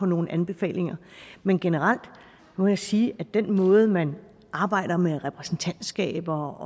nogle anbefalinger men generelt må jeg sige at den måde man arbejder med repræsentantskaber